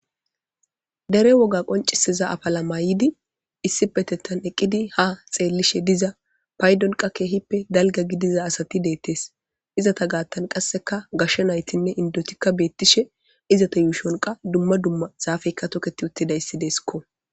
Dere woga qonciseza afala maayidi issi petettan eqqidi ha xeellishe diza paydonqa keehippe dalga gidiza asati deettes izata gaattan qasseka gasha naytinne indotikka beettishe izata yuushonqa dumma dumma zaafeykka toketi uttidayssideskko.